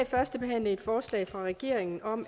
førstebehandle et forslag fra regeringen om